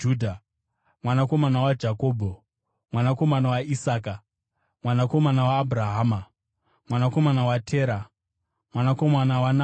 mwanakomana waJakobho, mwanakomana waIsaka, mwanakomana waAbhurahama, mwanakomana waTera, mwanakomana waNahori,